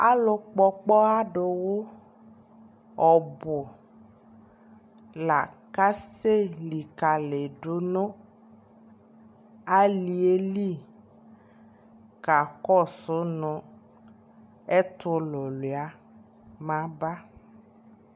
Alʋ kpɔ ɔkpɔwadʋ wʋ ɔbʋ la kasɛlιkalidʋ nʋ ali yɛ lι kakɔsʋ nʋ ɛtʋlʋlua maba